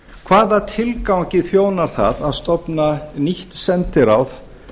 hvaða tilgangi þjónar það að stofna nýtt sendiráð